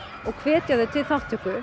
og hvetja þau til þátttöku